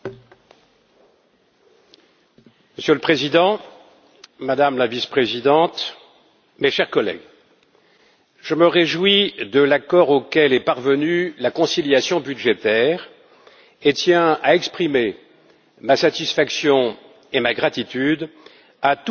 Monsieur le Président, Madame la Vice présidente, mes chers collègues, je me réjouis de l'accord auquel est parvenue la conciliation budgétaire et je tiens à exprimer ma satisfaction et ma gratitude à tous ceux qui ont conjugué leurs efforts